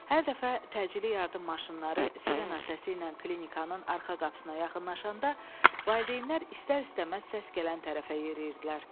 Hər dəfə təcili yardım maşınları sirena səsi ilə klinikanın arxa qapısına yaxınlaşanda valideynlər istər-istəməz səs gələn tərəfə yeriyirdilər.